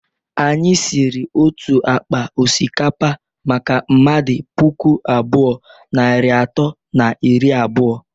Anyi siri otu akpa osikapa maka mmadu puku abụọ, narị atọ na iri abụọ